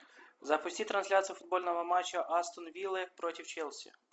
запусти трансляцию футбольного матча астон виллы против челси